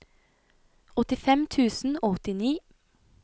åttifem tusen og åttini